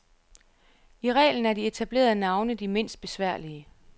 I reglen er de etablerede navne de mindst besværlige.